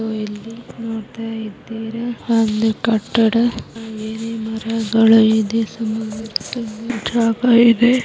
So ಇಲ್ಲಿ ನೋಡ್ತಾ ಇದ್ದೀರಾ ಒಂದು ಕಟ್ಟಡ ಹಾಗೇನೇ ಮರಗಳು ಇವೆ ಸುಮಾರು ಜಾಗ ಇದೆ .